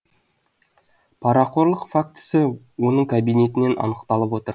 парақорлық фактісі оның кабинетінен анықталып отыр